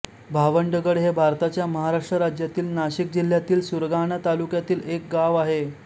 भावंडगड हे भारताच्या महाराष्ट्र राज्यातील नाशिक जिल्ह्यातील सुरगाणा तालुक्यातील एक गाव आहे